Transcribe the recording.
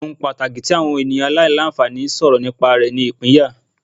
Awọn pataki alailanfani eniyan sọrọ nipa ni ipinya